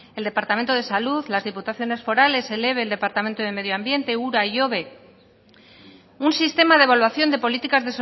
el departamento de salud las diputaciones forales el ebe el departamento de medioambiente ura y un sistema de evaluación de políticas